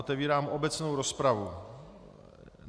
Otevírám obecnou rozpravu.